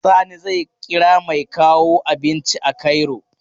Sani zai kira mai kawo abinci a Cairo.